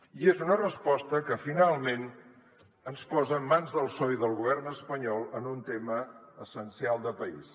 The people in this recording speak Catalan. i és una resposta que finalment ens posa en mans del psoe i del govern espanyol en un tema essencial de país